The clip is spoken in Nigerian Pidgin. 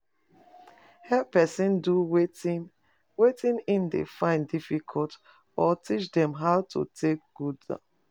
Help persin do wetin wetin e de find difficult or teach dem how to take do am